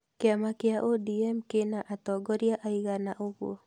Kĩama kĩa Odm kĩna atongoria aigana ũguo?